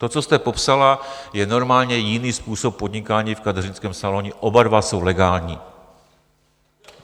To, co jste popsala, je normálně jiný způsob podnikání v kadeřnickém saloně, oba dva jsou legální.